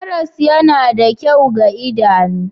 Karas yana da kyau ga idanu